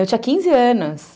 Eu tinha quinze anos.